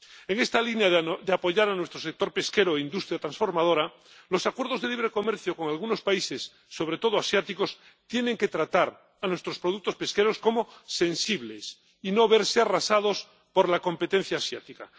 En esta línea de apoyar a nuestro sector pesquero e industria transformadora, los acuerdos de libre comercio con algunos países, sobre todo asiáticos, tienen que tratar a nuestros productos pesqueros como sensibles, y no verse arrasados por la competencia asiática.